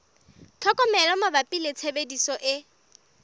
tlhokomelo mabapi le tshebediso e